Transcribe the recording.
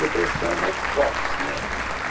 Depressão é mais forte, né?